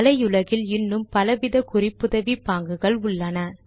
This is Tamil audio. வலையுலகில் இன்னும் பலவித குறிப்புதவி பாங்குகள் உள்ளன